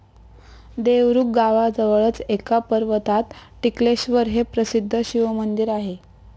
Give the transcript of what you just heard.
देवरुख गावाजवळच एका पर्वतात टिकलेश्वर हे प्रसिद्ध शिवमंदिर आहे.